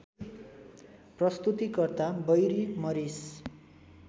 प्रस्तुतिकर्ता Barry मरिस